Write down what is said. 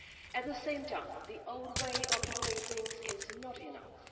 At the same time, the old way of doing things is not enough.